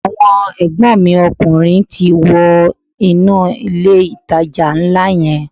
Àwọn ègbón mi ọkùnrin ti wọ inú ilé ìtajà nlá yẹn